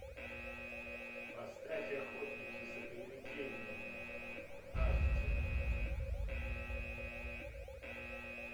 поставь охотники за привидениями аш ди